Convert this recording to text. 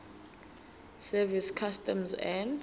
service customs and